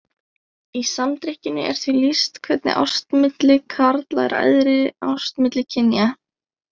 Í Samdrykkjunni er því lýst hvernig ást milli karla er æðri ást milli kynja.